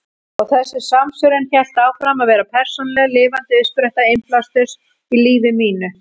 Og þessi samsvörun hélt áfram að vera persónuleg, lifandi uppspretta innblásturs í lífi mínu.